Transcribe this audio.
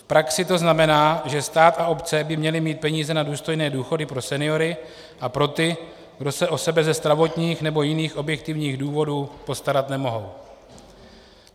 V praxi to znamená, že stát a obce by měly mít peníze na důstojné důchody pro seniory a pro ty, kdo se o sebe ze zdravotních nebo jiných objektivních důvodů postarat nemohou.